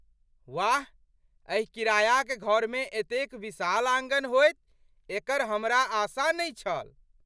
वाह, एहि किरायाक घरमे एतेक विशाल आँगन होयत एकर हमरा आशा नहि छल!